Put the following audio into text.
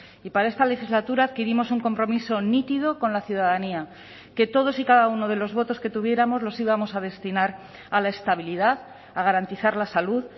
y para esta legislatura adquirimos un compromiso nítido con la ciudadanía que todos y cada uno de los votos que tuviéramos los íbamos a destinar a la estabilidad a garantizar la salud